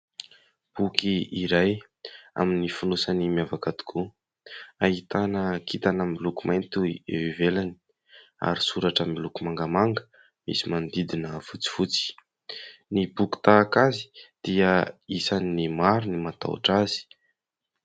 Boky iray amin'ny fonosany miavaka tokoa, ahitana kintana miloko mainty eo ivelany ary soratra miloko mangamanga misy manodidina fotsifotsy. Ny boky tahaka azy dia isany maro ny matahotra azy.